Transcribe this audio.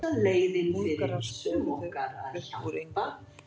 Búlgarar skoruðu upp úr engu